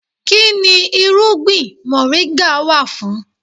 Kínni irúgbìn moringa wà fún?